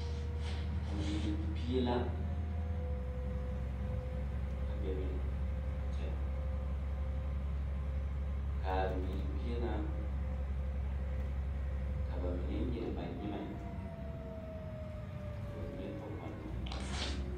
Bibiiri pie la a bebe a kyɛ k,a bibiiri pie ŋa ka ba mine nyere ba nyemɛ ka ba mine pɔge ba nɔɛ.